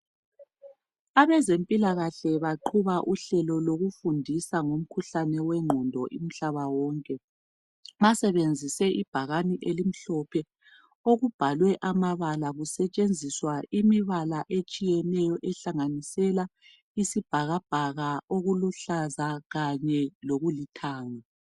Abezempilakahle baqhuba uhlelo lokufundisa ngomkhuhlane wengqondo umhlaba wonke. Basebenzise ibhakane elimhlophe okubhalwe amabala kusetshenziswa imibala etshiyeneyo ehlanganisela isibhakabhaka, okuluhlaza kanye lokulithanga.